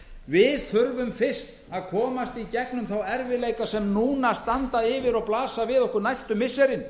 við þurfum fyrst að komast í gegnum þá erfiðleika sem núna standa yfir og blasa við okkur næstu missirin